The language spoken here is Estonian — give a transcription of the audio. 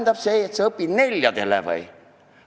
Kas see tähendab, et sa õpid neljadele või?